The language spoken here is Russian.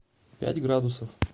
пять градусов